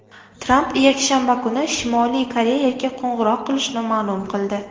Tramp yakshanba kuni Shimoliy Koreyaga qo‘ng‘iroq qilishini ma’lum qildi.